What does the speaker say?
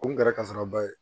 O kun kɛra kasaraba ye